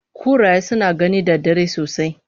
Kuraye suna gani da dare sosai